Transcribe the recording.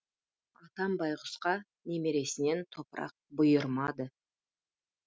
атам байғұсқа немересінен топырақ бұйырмады